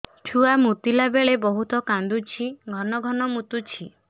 ଛୁଆ ମୁତିଲା ବେଳେ ବହୁତ କାନ୍ଦୁଛି ଘନ ଘନ ମୁତୁଛି